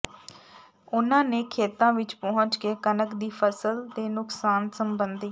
ਉਨ੍ਹਾਂ ਨੇ ਖੇਤਾਂ ਵਿਚ ਪਹੁੰਚ ਕੇ ਕਣਕ ਦੀ ਫ਼ਸਲ ਦੇ ਨੁਕਸਾਨ ਸਬੰਧੀ